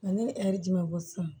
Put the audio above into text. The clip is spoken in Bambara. Nka ne ye ɛri di ma bɔ sisan